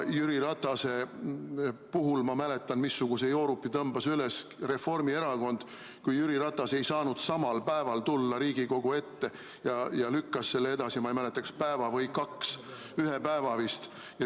Ma mäletan, missuguse joorupi tõmbas üles Reformierakond, kui Jüri Ratas ei saanud samal päeval tulla Riigikogu ette ja lükkas selle edasi, ma ei mäleta, kas päeva või kaks, ühe päeva vist.